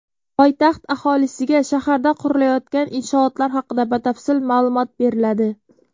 Poytaxt aholisiga shaharda qurilayotgan inshootlar haqida batafsil ma’lumot beriladi.